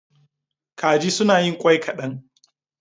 Kaji suna yin ƙwai kaɗan.